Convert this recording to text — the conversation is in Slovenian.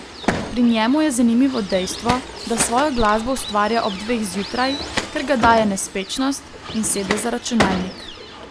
Pri njemu je zanimivo dejstvo, da svojo glasbo ustvarja ob dveh zjutraj, ker ga daje nespečnost in sede za računalnik.